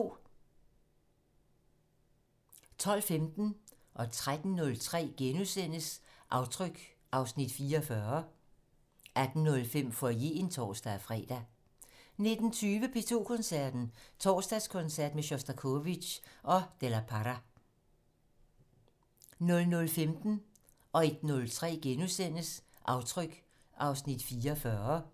12:15: Aftryk (Afs. 44)* 13:03: Aftryk (Afs. 44)* 18:05: Foyeren (tor-fre) 19:20: P2 Koncerten - Torsdagskoncert med Sjostakovitj og de la Parra 00:15: Aftryk (Afs. 44)* 01:03: Aftryk (Afs. 44)*